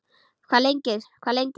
Hvað lengi, hvað lengi?